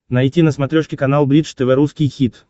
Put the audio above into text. найти на смотрешке канал бридж тв русский хит